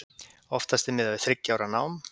Oftast er miðað við þriggja ára nám.